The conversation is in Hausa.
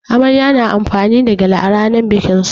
Amarya na amfani da gyale a rannan bikin su.